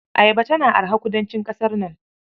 Ayaba tana araha kudancin ƙasar nan.